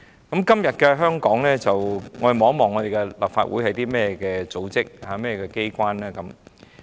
在今天的香港，立法會是一個怎樣的機關呢？